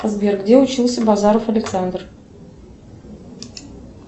сбер где учился базаров александр